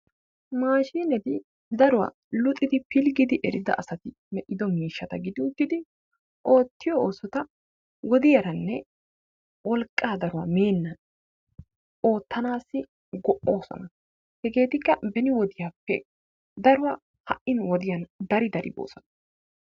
Maashineti daruwaa luxxidi pilggidi erida asati medhdhido miishshata gidi uttidi oottiyo oosota wodiyaranne wolqqaa daruwaa mennan oottanassi go'oosona. Hegeetikka beni wodiyaappe daruwaa ha'i nu wodiyaan dari dari boosona.